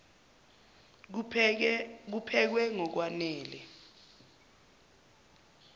kuphekwe ngok wanele